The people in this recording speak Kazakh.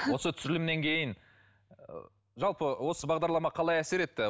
осы түсірілімнен кейін ы жалпы осы бағдарлама қалай әсер етті